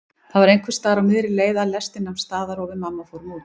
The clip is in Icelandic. Það var einhversstaðar á miðri leið að lestin nam staðar og við mamma fórum út.